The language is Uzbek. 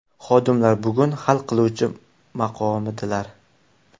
Xodimlar bugun hal qiluvchi maqomidalar!